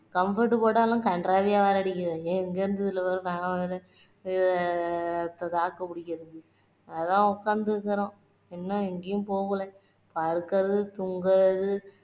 comfort போட்டாலும் கன்றாவியா வாடை அடிக்குது எங்கருந்து இது நான் வேற அஹ் தாக்கு புடிக்குறது அதான் உக்காந்து இருக்குறோம் இன்னும் எங்கேயும் போகல படுக்குறது தூங்குறது